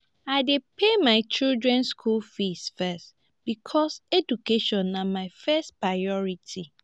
i dey pay my children skool fees first because education na my first priority.